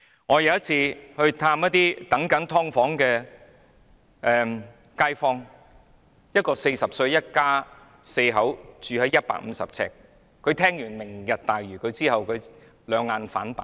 我有一次探訪住在"劏房"的街坊，他一家四口住在150平方呎的地方，聽完"明日大嶼願景"計劃後兩眼反白。